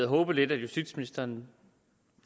håbet at justitsministeren